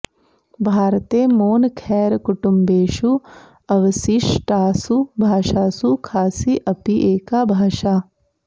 भारते मोनखैर कुटुम्बेषु अवसिष्टासु भाषासु खासि अपि एका भाषा